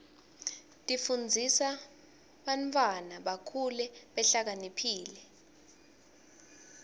tifundzisa bantwana bakhule behlakaniphile